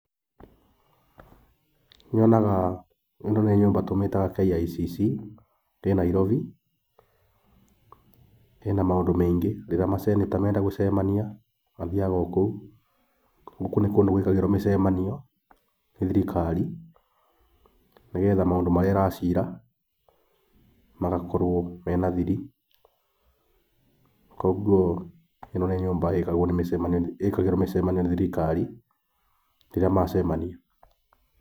Nĩ nyonaga ĩno nyũmba tũmĩtaga KICC, ĩ Nairobi, ĩna maũndũ maingĩ. Rĩrĩa ma senator menda gũcemania mathiaga o kũu. Gũkũ nĩ kũndũ gwĩkagĩrwo mĩcemanio nĩ thirikari, nĩgetha maũndũ marĩa ĩra cira magakorwo mena thiri. Koguo ĩno nĩ nyũmba ĩkagĩrwo mĩcemanio nĩ thirikari rĩrĩa macemania.